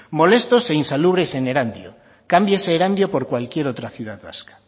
molestos e insalubres en erandio cámbiese erandio por cualquier otra ciudad vasca